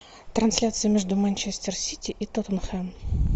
трансляция между манчестер сити и тоттенхэм